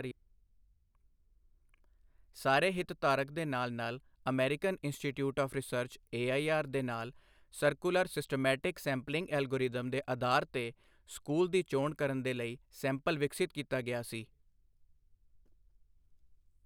ਸਾਰੇ ਹਿਤਧਾਰਕ ਦੇ ਨਾਲ ਨਾਲ American institute of research AIR ਦੇ ਨਾਲ ਸਰਕੁਲਰ ਸਿਸਟੇਮੈਟਿਕ ਸੈਂਪਲਿੰਗ ਐਲਗੋਰਿਥਮ ਦੇ ਅਧਾਰ ਤੇ ਸਕੂਲ ਦੀ ਚੋਣ ਕਰਨ ਦੇ ਲਈ ਸੈਂਪਲ ਵਿਕਸਿਤ ਕੀਤਾ ਗਿਆ ਸੀ।